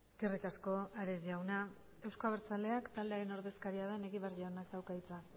eskerrik asko ares jauna euzko abertzaleak taldearen ordezkaria den egibar jaunak dauka hitza